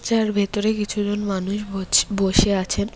যার ভেতরে কিছু জন মানুষ বোছ বসে আছেন।